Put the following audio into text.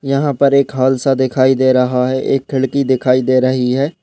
यहाँ पर एक हाल और एक खिड़की दिखाई दे रही है।